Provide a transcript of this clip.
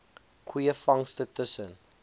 goeie vangste tussen